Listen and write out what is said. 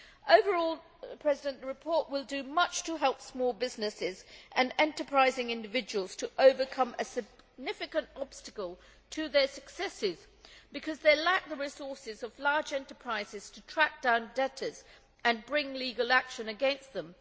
Overall the report will do much to help small businesses and enterprising individuals to overcome a significant obstacle to their success because they lack the resources of large enterprises to track down debtors and bring legal action against them.